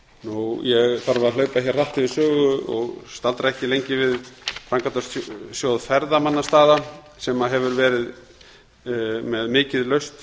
að hlaupa hér hratt yfir sögu og staldra ekki lengi við framkvæmdasjóð ferðamannastaða sem hefur verið með mikið laust